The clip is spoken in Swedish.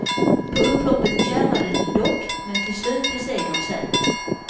På upploppet kärvade det dock men till slut blev segern säker.